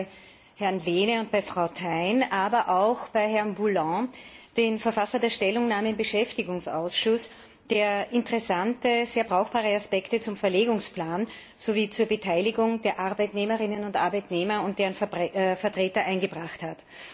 Vor allem bei Herrn Lehne und Frau Thein, aber auch bei Herrn Boulland, dem Verfasser der Stellungnahme im Beschäftigungsausschuss, der interessante, sehr brauchbare Aspekte zum Verlegungsplan sowie zur Beteiligung der Arbeitnehmerinnen und Arbeitnehmer und deren Vertreter eingebracht hat.